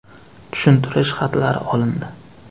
Tushuntirish xatlari olindi.